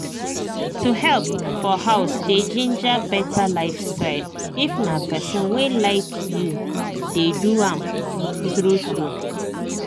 to help for house dey ginger better lifestyle if na person wey like you dey do am true true